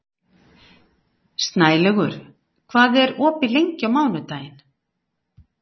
Snælaugur, hvað er opið lengi á mánudaginn?